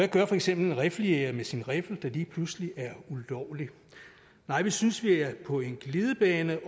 gør for eksempel en riffeljæger med sin riffel der lige pludselig er ulovlig nej vi synes vi er på en glidebane